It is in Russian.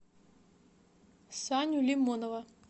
саню лимонова